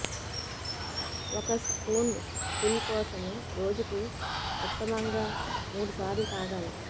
ఒక spoonful కోసం రోజుకు ఉత్తమంగా మూడు సార్లు త్రాగాలి